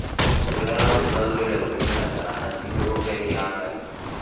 Tũrerwo atĩ twagĩrĩirwo gũtũmĩra taranda citũ gũkenia ngai.